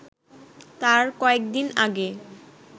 তার কয়েকদিন আগে